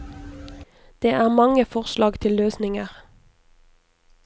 Det er mange forslag til løsninger.